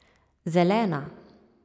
Zelena.